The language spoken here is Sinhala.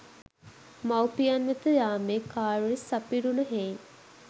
මවුපියන් වෙත යාමේ කාර්යය සපිරුණ හෙයින්